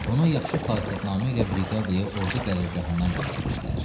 Onu yaxşı xasiyyətnamə ilə briqadaya ordu qərargahından göndərmişdilər.